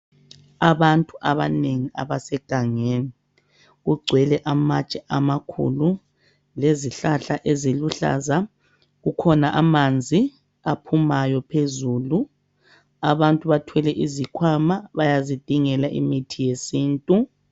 Abantu abanenyi abasegangeni. Kugcwele amatshe amakhulu, lezihlahla eziluhlaza. Kukhona amanzi aphumayo, phezulu. Abantu bathwele izikhwana. Bayazidingela imithi yesintu.